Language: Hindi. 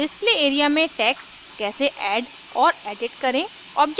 display area में text कैसे add और edit करें